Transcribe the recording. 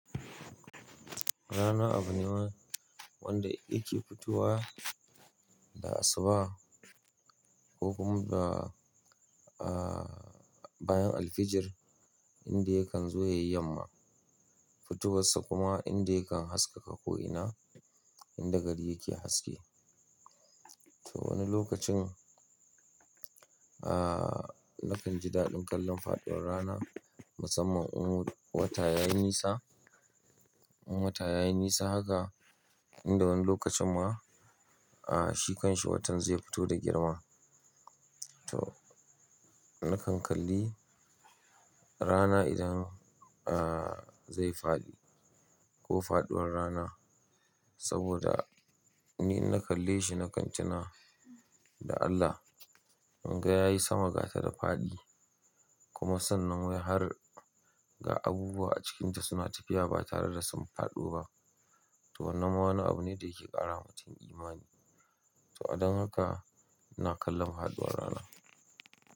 Rana abu ne wanda yake fitowa da asuba ko kuma da, ah, bayan alfijir inda yakan zo ya yi yamma. Fitowarsa kuma inda yakan haskaka ko'ina inda gari yake haske. To wani lokacin, ah, na kan ji daɗin kallon faɗuwar rana musamman in wata ya yi nisa, in wata ya yi nisa haka inda wani lokacin ma, ah, shi kanshi watan zai fito da girma. To na kan kalli rana idan, ah, zai faɗi ko faɗuwar rana saboda ni inna kalle shi na kan tuna da Allah. Munga ya yi sama gata da faɗi kuma sannan wai har ga abubuwa a cikinta suna tafiya ba tare da sun faɗo ba. To wannan wani abu ne da yake ƙara mutum imani. To a dan haka ina kallon faɗuwar rana.